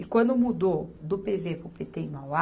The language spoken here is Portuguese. E quando mudou do Pê Vê para o Pê Tê em Mauá,